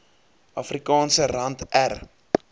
afrikaanse rand r